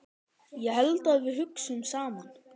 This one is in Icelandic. Ég held að við hugsum saman.